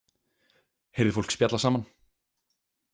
Heyrði fólk spjalla saman.